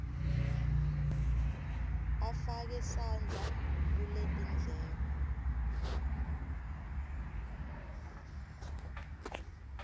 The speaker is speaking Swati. afake sandla kuletindleko